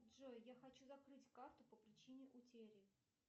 джой я хочу закрыть карту по причине утери